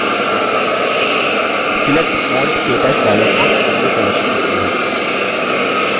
select font – ktouch dialog box window प्रदर्शित होती है